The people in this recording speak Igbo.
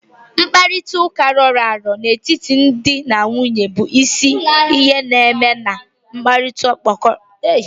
Mkparịta ụka roro aro n'etiti di na nwunye bụ isi ihe na-eme ka mmekọrịta kporo akpo dite aka.